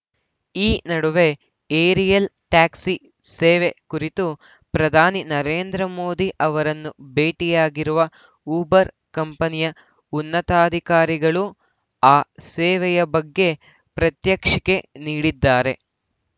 ಈ ನಡುವೆ aerial taxi ಸೇವೆ ಕುರಿತು ಪ್ರಧಾನಿ ನರೇಂದ್ರ ಮೋದಿ ಅವರನ್ನು ಭೇಟಿಯಾಗಿರುವ ಉಬರ್‌ ಕಂಪನಿಯ ಉನ್ನತಾಧಿಕಾರಿಗಳು ಆ ಸೇವೆಯ ಬಗ್ಗೆ ಪ್ರಾತ್ಯಕ್ಷಿಕೆ ನೀಡಿದ್ದಾರೆ